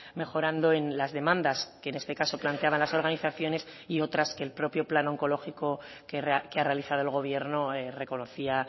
mejorando en las demandas que en este caso planteaban las organizaciones y otras que el propio plan oncológico que ha realizado el gobierno reconocía